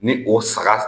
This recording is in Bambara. Ni o saga